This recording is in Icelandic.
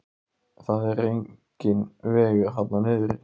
Það er enginn vegur þarna niðri.